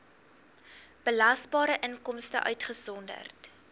belasbare inkomste uitgesonderd